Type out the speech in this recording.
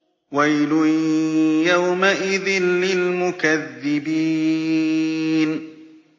وَيْلٌ يَوْمَئِذٍ لِّلْمُكَذِّبِينَ